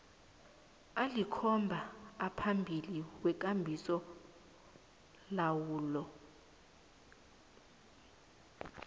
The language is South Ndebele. alikhomba aphambili wekambisolawulo